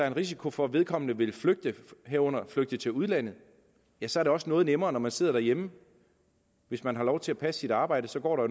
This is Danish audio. en risiko for at vedkommende vil flygte herunder flygte til udlandet ja så er det også noget nemmere når man sidder derhjemme hvis man har lov til at passe sit arbejde går der